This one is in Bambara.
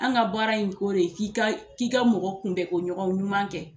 An ka baara in ko de k'i ka k'i ka mɔgɔ kunbɛko ɲɔgɔn ɲuman kɛ.